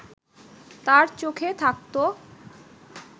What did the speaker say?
তার চোখে থাকত